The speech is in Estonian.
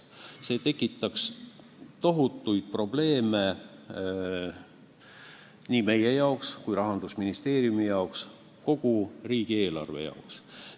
See tekitaks tohutuid probleeme nii meie jaoks kui Rahandusministeeriumi jaoks, kogu riigieelarve jaoks.